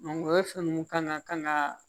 o ye fɛn ninnu ka na ka na